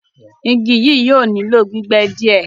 Ìgí yíí yóò nilọ̀ gbígbẹ́ díẹ